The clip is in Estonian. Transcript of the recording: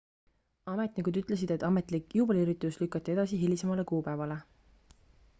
ametnikud ütlesid et ametlik juubeliüritus lükati edasi hilisemale kuupäevale